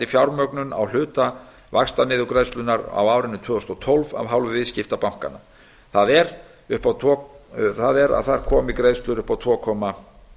fjármögnun á hluta vaxtaniðurgreiðslunnar á árinu tvö þúsund og tólf af hálfu viðskiptabankanna það er að þar komi greiðslur upp á tvö komma